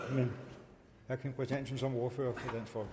men herre kim christiansen som ordfører for